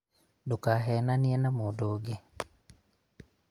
ndũkehananie na mũndũ ũngĩ